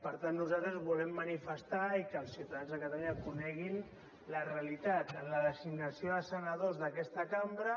per tant nosaltres volem manifestar i que els ciutadans de catalunya coneguin la realitat en la designació de senadors d’aquesta cambra